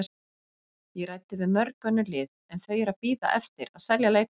Ég ræddi við mörg önnur lið en þau eru að bíða eftir að selja leikmenn.